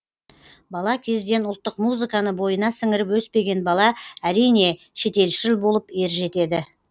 бала кезден ұлттық музыканы бойына сіңіріп өспеген бала әрине шетелшіл болып ержетеді